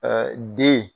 den